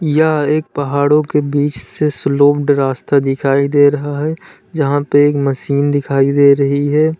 यह एक पहाड़ों के बीच से स्लोप्ड रास्ता दिखाई दे रहा है जहां पे एक मशीन दिखाई दे रही है।